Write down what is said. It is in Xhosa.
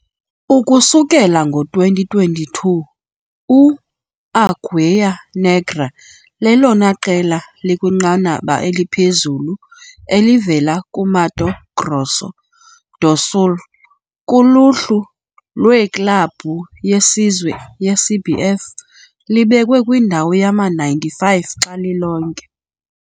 Ukusukela ngo-2022, u-Águia Negra lelona qela likwinqanaba eliphezulu elivela kuMato Grosso do Sul kuluhlu lweklabhu yesizwe yeCBF, libekwe kwindawo yama-95 xa lilonke.